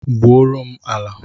Gbuo ro m ala!